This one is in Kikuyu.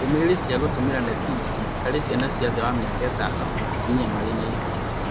Ndũmĩrĩri cia gũtũmĩra netĩ ici harĩ ciana cia thĩ wa mĩaka ĩtano na atumia marĩ na ihu